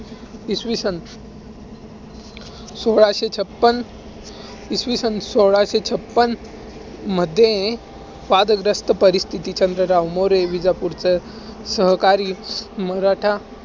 इसवी सन सोळाशे छप्पन~ इसवी सन सोळाशे छप्पनमध्ये वादग्रस्त परिस्थिती चंद्रगाव मोरे, विजापूरचे सहकारी मराठा